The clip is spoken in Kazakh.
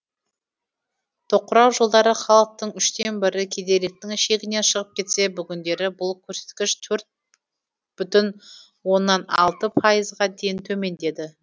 тоқырау жылдары халықтың үштен бірі кедейліктің шегінен шығып кетсе бүгіндері бұл көрсеткіш төрт бүтін оннан алты пайызға дейін төмендеді